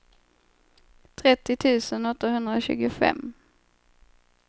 trettio tusen åttahundratjugofem